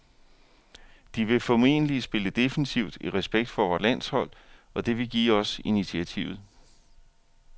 De vil formentlig spille defensivt i respekt for vort landshold, og det vil give os initiativet.